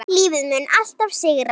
Lífið mun alltaf sigra.